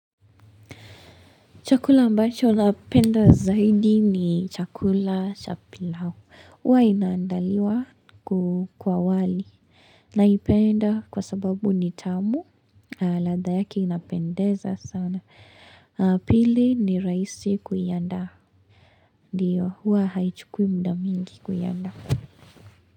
Chakula ambacho unapenda zaidi ni chakula cha pilau. Uwa inaandaliwa kwa wali. Naipenda kwa sababu ni tamu. Ladha yake inapendeza sana. Pili ni rahisi kuiandaa. Ndiyo huwa haichukui muda mingi kuiandaa.